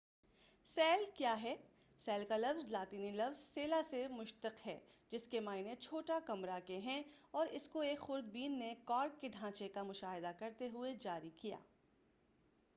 cell کیا ہے cell کا لفظ لاطینی لفظ سیلا سے مشتق ہے جس کے معنی چھوٹا کمرہ کے ہیں اور اس کو ایک خورد بین نے کارک کے ڈھانچے کا مشاہدہ کرتے ہوئے جاری کیا